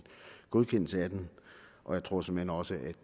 godkendelse af den og jeg tror såmænd også at